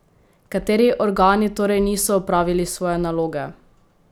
Kateri organi torej niso opravili svoje naloge?